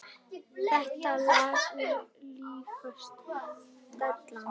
Þetta lag er nýjasta dellan.